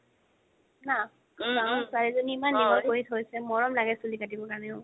না ডাঙৰ ছোৱালি জনি ইমান দিঘল কৰি থইছে মৰম লাগে চুলি কাটিব কাৰণে ঔ